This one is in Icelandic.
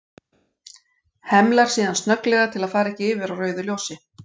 Hemlar síðan snögglega til að fara ekki yfir á rauðu ljósi.